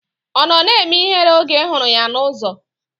Ọ nọ na-eme ihere oge ị hụrụ ya n'ụzọ?